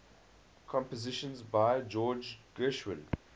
compositions by george gershwin